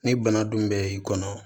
Ni bana dun bɛ i kɔnɔ